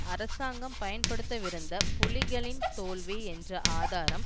அரசாங்கம் பயன்படுத்தவிருந்த புலிகளின் தோல்வி என்ற ஆதாரம்